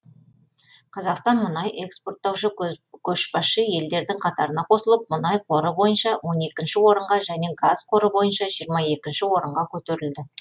қазақстан мұнай экспорттаушы көшбасшы елдердің қатарына қосылып мұнай қоры бойынша он екінші орынға және газ қоры бойынша жиырма екінші орынға көтерілді